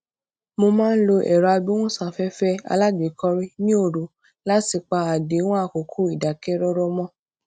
mo máa ń lo èrọ agbóhùnsáféfé alágbèékọorí ní òru láti pa àdéhùn àkókò ìdákẹrọrọ mọ